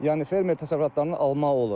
Yəni fermer təsərrüfatlarını almaq olur.